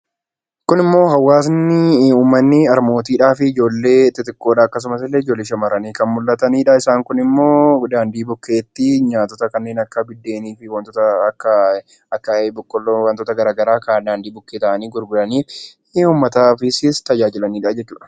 Kun immoo hawaasni, harmootii fi ijoollee xixiqqoodha. Fakkiin ijoollee shamarranii kan mul'atanidha. Isaanis daandii bukkeetti kanneen akka buddeenii fi wantoota akka boqqoolloo wantoota garaagaraa kan daandii bukkee taa'anii uummataafis tajaajilanidha jechuudha.